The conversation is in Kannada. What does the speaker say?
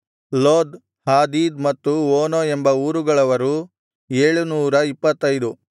ಲೋದ್ ಹಾದೀದ್ ಮತ್ತು ಓನೋ ಎಂಬ ಊರುಗಳವರು 725